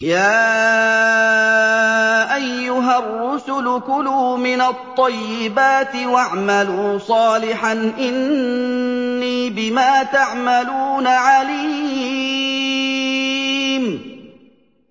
يَا أَيُّهَا الرُّسُلُ كُلُوا مِنَ الطَّيِّبَاتِ وَاعْمَلُوا صَالِحًا ۖ إِنِّي بِمَا تَعْمَلُونَ عَلِيمٌ